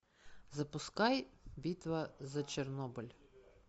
запускай битва за чернобыль